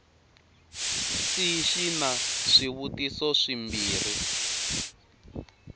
c xi na swivutiso swimbirhi